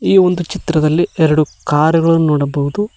ಈ ಒಂದು ಚಿತ್ರದಲ್ಲಿ ಎರಡು ಕಾರುಗಳನ್ನು ನೋಡಬಹುದು.